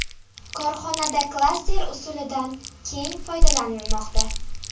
Korxonada klaster usulidan keng foydalanilmoqda.